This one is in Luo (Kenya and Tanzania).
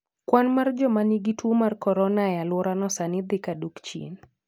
Kwan mar joma nigi tuo mar Corona e alworano sani dhi ka dok chien.